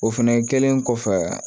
O fɛnɛ kɛlen kɔfɛ